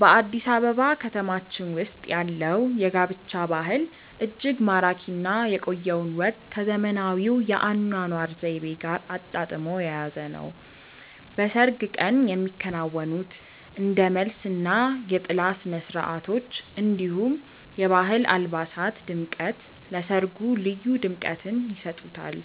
በአዲስ አበባ ከተማችን ውስጥ ያለው የጋብቻ ባህል እጅግ ማራኪ እና የቆየውን ወግ ከዘመናዊው የአኗኗር ዘይቤ ጋር አጣጥሞ የያዘ ነው። በሰርግ ቀን የሚከናወኑት እንደ መልስ እና የጥላ ስነስርዓቶች፣ እንዲሁም የባህል አልባሳት ድምቀት ለሰርጉ ልዩ ድምቀትን ይሰጡታል።